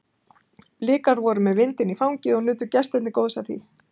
Blikar voru með vindinn í fangið og nutu gestirnir góðs af því.